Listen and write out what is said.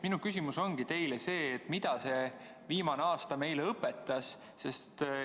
Minu küsimus ongi teile see, mida see viimane aasta meile õpetas.